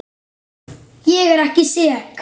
Ég er ekki sek.